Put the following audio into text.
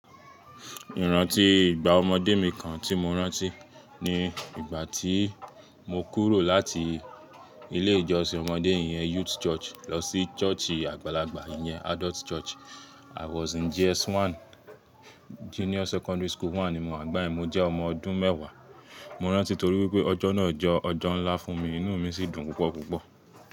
Ìrántí ìgbà ọmọdé mi kan tí mo rántí, ni ìgbà tí mo kúrò láti ilé ìjọsìn ọmọdé iyẹn Youth Church lọ sí ṣọ́ọ̀ṣì àgbàlagbà iyẹn Adult Church. I was in JS 1, Junior Secondary School 1 ni mo àgbáyé mi. Mo jẹ́ ọmọ ọdún mẹ́wàá. Mo rántí torí wípé ọjọ́ náà jẹ́ ọjọ́ ńlá fún mi, inú mi sì dùn púpọ̀ púpọ̀.